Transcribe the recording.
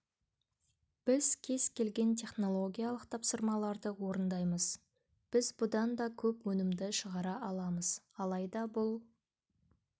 біз кез келген технолгиялық тапсырмаларды орындаймыз біз бұдан да көп өнімді шығара аламыз алайда бұл